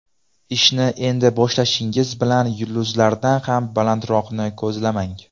Ishni endi boshlashingiz bilan yulduzlardan ham balandroqni ko‘zlamang.